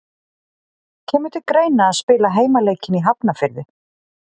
Kemur til greina að spila heimaleikinn í Hafnarfirði?